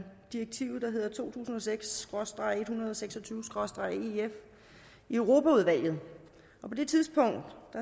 direktivet der hedder to tusind og seks SKRÅSTREG en hundrede og seks og tyve SKRÅSTREG ef i europaudvalget og på det tidspunkt